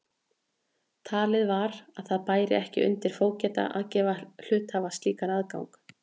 Talið var að það bæri ekki undir fógeta að veita hluthafa slíkan aðgang.